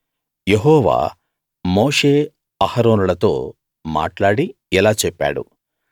యెహోవా మోషే అహరోనులతో మాట్లాడి ఇలా చెప్పాడు